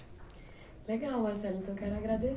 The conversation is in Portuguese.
Legal, Marcelo. Então quero agrade